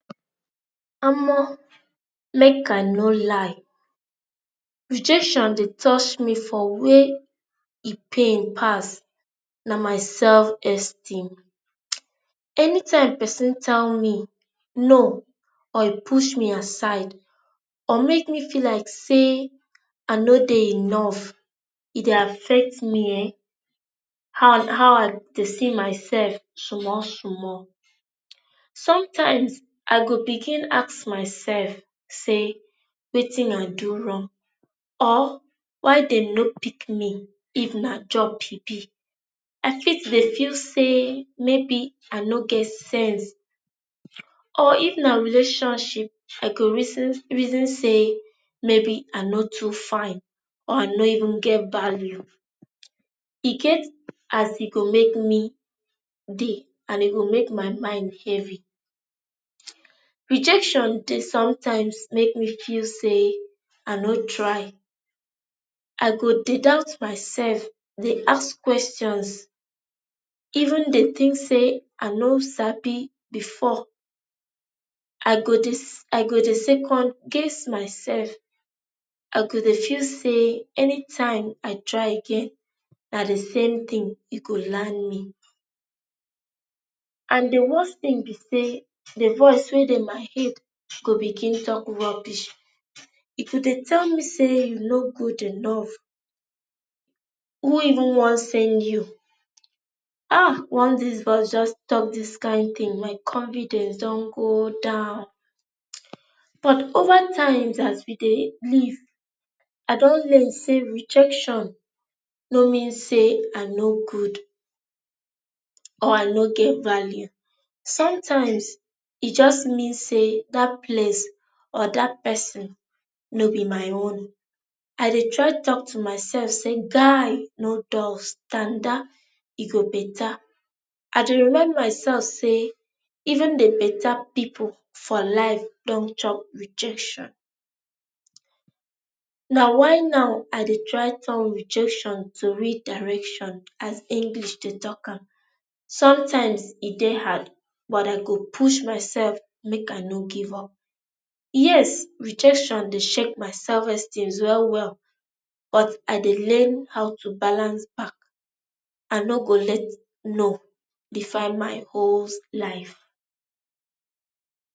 omo make ah no lie rejection dey toch me for wey e pain pass, na my selfesteem. um anytime pesin tell me 'no' or e push me aside or make me feel like say ah no dey enough, e dey affect me ehen, how i how I dey see myself simol simol. sometimes, I go begin ask myself say wetin I do wrong or why dem no pick me if na job e be? I fit dey feel say maybe ah no get sense um or if na relationship I go reason reason say maybe ah no too fine or I no even get value e get as e go make me dey and e go make my mind heavy. [um]rejection dey sometimes make me feel say i no try ah go dey doubt myself dey ask questons even dey think say i no sabi before i go dey s i go dey second guess myself. i go dey feel say anytime i try again na the same thing e go land me. and the worst thing be say the voice wey dey my head go begin talk rubbish. e go dey tell me say you no good enough who even wan send you? ha, once this voice just tok dis kain tin my convidence dun go down um but overtimes as we dey live, i dun learn say rejection no mean say i no good or i no get value. sometimes e just mean say that place or that pesin no be my own. I dey try talk to myself say guy no dull, standa, e go beta. I dey remind mysef say even de beta pipu for life dun chop rejection na why now i dey try turn rejection to redirection as english dey tok am. sometimes e dey hard, but i go push mysef make i no give up. yes, rejection dey shake my self esteems well well but i dey learn how to balance back. Ah no go let 'no' define my holes life.